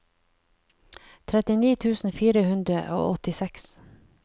trettini tusen fire hundre og åttiseks